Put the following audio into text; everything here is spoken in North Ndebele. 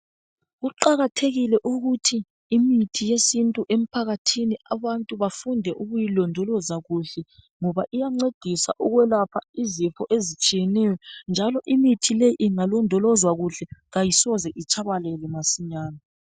Kuqakathekile ukuthi imithi yesintu emphakathini abantu bafunde ukuyilondoloza kuhle. Ngoba iyancedisa ukwelapha izifo ezitshiyeneyeneyo, njalo imithi leyi ingalondolozwa kuhle kayisoze itshabalale masinyane.